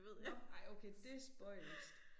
Nå ej okay det spøjst